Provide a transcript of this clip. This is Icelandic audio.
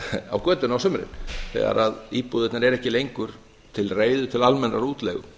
á götunni á sumrin þegar íbúðirnar eru ekki lengur til reiðu til almennrar útleigu